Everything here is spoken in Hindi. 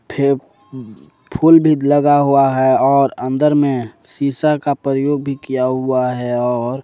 हे फुल भी लगा हुआ है और अंदर में शीशा का प्रयोग भी किया हुआ है और--